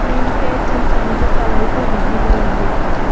cream face and shampoos are also visible on the shelf.